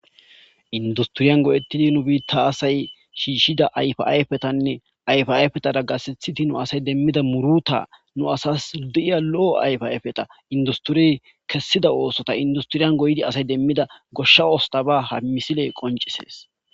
Industhriyan go7eththidi nu biiththa aasay shiishshida ayfaa yfethanne ayfaa ayfethara gasethithi nu asay demmida murutha nu asas di7iya lo7o ayfaa ayfetha industhuree kessida oosotha industhiriyan goydi asay demmida goshsha osthaba hammisile qoncisees.